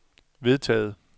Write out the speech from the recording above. vedtaget